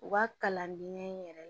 U ka kalandenya yɛrɛ